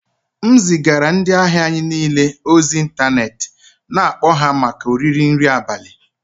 M zigara ndị ahịa anyị niile ozi ịntanetị na-akpọ ha maka oriri nri abalị